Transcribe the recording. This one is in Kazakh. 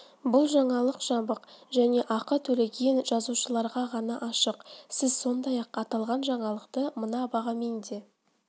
бұл жаңалық жабық және ақы төлеген жазылушыларға ғана ашық сіз сондай-ақ аталған жаңалықты мына бағамен де